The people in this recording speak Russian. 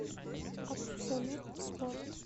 абсолют спорт